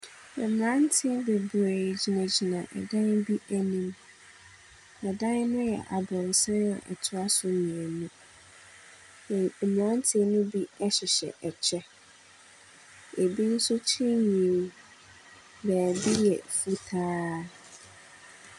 Mmeranteɛ bebree gyinagyina dan bi anim. Na da no yɛ abrɔsan a ɛtoa so mmienu. Mmeranteɛ ne bi hyehyɛ kyɛ, bi nso tirihwi beebi yɛ fitaa.